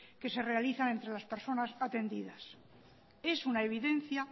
que se realizan entre las personas atendidas es una evidencia